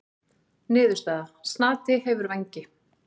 Niðurstaða: Snati hefur vængi.